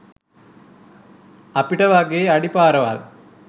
අපිට වගේ අඩි පාරවල්